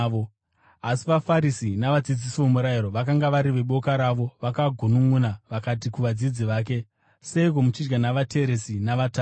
Asi vaFarisi navadzidzisi vomurayiro vakanga vari veboka ravo vakagununʼuna vakati kuvadzidzi vake, “Seiko muchidya navateresi navatadzi?”